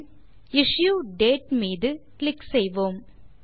பின் issue date மீது click செய்வோம்